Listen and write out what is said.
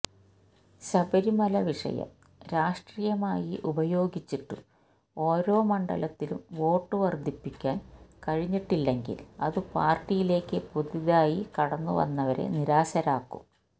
ശബരിമല വിഷയം രാഷ്ട്രീയമായി ഉപയോഗിച്ചിട്ടും ഓരോ മണ്ഡലത്തിലും വോട്ടു വര്ധിപ്പിക്കാന് കഴിഞ്ഞിട്ടില്ലെങ്കില് അതു പാര്ട്ടിയിലേക്കു പുതുതായി കടന്നുവന്നവരെ നിരാശരാക്കും